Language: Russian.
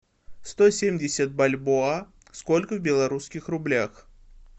сто семьдесят бальбоа сколько в белорусских рублях